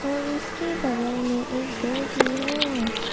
और उसके बगल में एक घर भी है।